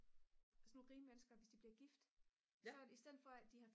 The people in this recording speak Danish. sådan nogle rige mennesker hvis de bliver gift så i stedet for at de